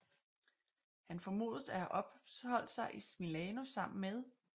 Han formodes at have opholdt sig i Milano sammen med Skt